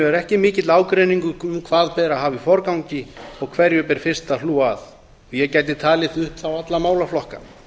er ekki mikill ágreiningur um hvað beri að hafa í forgangi og hverju ber fyrst að hlúa að og ég gæti talið upp þá alla málaflokka